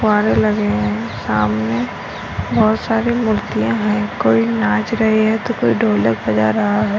फुव्वारे लगे है सामने बहुत सारी मूर्तिया है कोई नाच रही है तो कोई ढोलक बजा रहा है।